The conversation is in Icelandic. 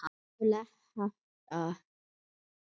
Þú lest hægt, sagði afi.